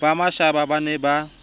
ba mashaba ba ne ba